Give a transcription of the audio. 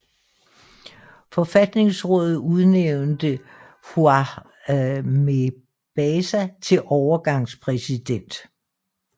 Forfatningsrådet udnævnte Fouad Mebazaa til overgangspræsident